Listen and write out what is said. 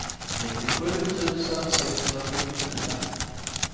nittiosju tusen sexhundrafyrtiofyra